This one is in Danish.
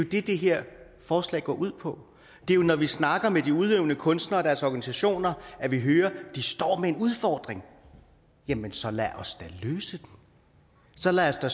det det her forslag går ud på det er når vi snakker med de udøvende kunstnere og deres organisationer at vi hører at de står med en udfordring jamen så lad os da løse den så lad os da